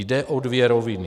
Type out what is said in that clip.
Jde o dvě roviny.